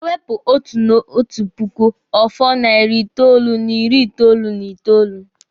E wepụ otu n'otu puku, ọ fọ narị itoolu n'ịrị itoolu n'itoolu.